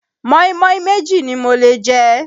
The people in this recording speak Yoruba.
mọ́ínmọ́ín méjì ni mo lè jẹ.